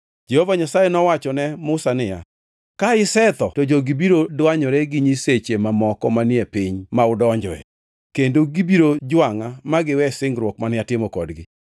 Jehova Nyasaye nowachone Musa niya, “Ka isetho to jogi biro dwanyore gi nyiseche mamoko manie piny ma udonjoe, kendo gibiro jwangʼa ma giwe singruok mane atimo kodgi.